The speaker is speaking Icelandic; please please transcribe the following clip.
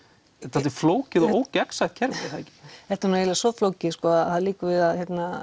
dálítið flókið og ógegnsætt kerfi er það ekki þetta er nú eiginlega svo flókið sko að það liggur við að